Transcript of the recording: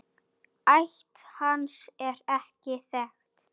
Ætt hans er ekki þekkt.